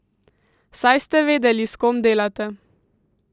Saj ste vedeli, s kom delate!